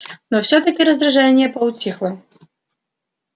но всё-таки раздражение поутихло